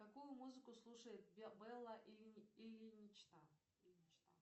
какую музыку слушает белла ильинична